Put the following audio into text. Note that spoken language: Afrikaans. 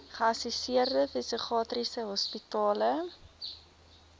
geassosieerde psigiatriese hospitale